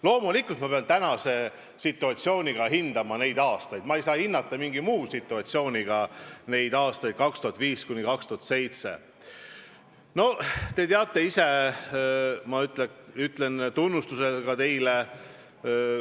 Loomulikult ma pean hindama neid aastaid praegusest situatsioonist, ma ei saa hinnata aastaid 2005–2007 mingist muust situatsioonist.